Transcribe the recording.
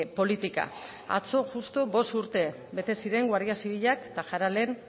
politika atzo justu bost urte bete ziren guardia zibilak tajaralen